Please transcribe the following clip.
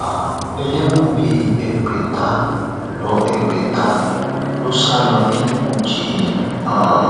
um ẹlẹwọn bíi ẹgbẹta ló ẹgbẹta ló sá lọ ní kújẹ um